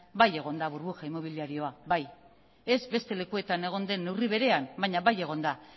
bai egon da burbuja inmobiliarioa bai ez beste lekuetan egon den neurri berean baina bai egon da